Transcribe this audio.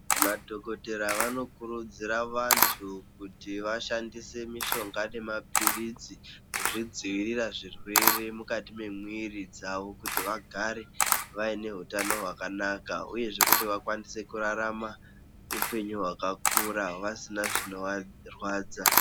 Madhokotera vanokurudzira vantu kuti vashandise mishonga nemaphirizi kuzvidziira zvirwere mukati mwemwiri dzawo kuti vagare vaine hutano hwakanaka uyezve kuti vakwanise kurarama hupenyu hwakakura vasina zvinovarwadza.